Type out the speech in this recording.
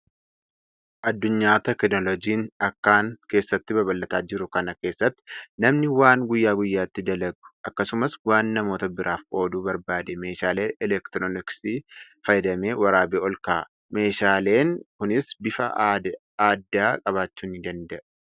Addunyaa teekinoolojiin akkaan keessatti babal'ataa jiruu kana keessatti namni waan guyyaa guyyaatti dalagu, akkasumas waan namoota biraaf qooduu barbaade meeshaalee elektirooniksiiti fayyadamee waraabee olkaa'a. Meeshaaleen kunis bifa addaa qabaachuu ni danda'a.